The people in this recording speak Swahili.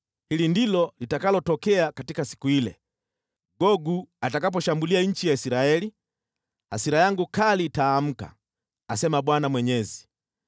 Hili ndilo litakalotokea katika siku ile: Gogu atakaposhambulia nchi ya Israeli, hasira yangu kali itaamka, asema Bwana Mwenyezi.